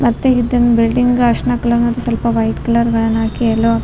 ಮತ್ತೆ ಇದ್ ಬಿಲ್ಡಿಂಗ್ ಅರ್ಶನ ಕಲರ್ ಮತ್ತೆ ಸ್ವಲ್ಪ ವೈಟ್ ಕಲರ್ ಮ್ಯಾಲ್ ಹಾಕಿ ಯಲ್ಲೋ --